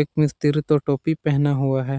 एक मिस्त्री तो टोपी पहना हुआ है।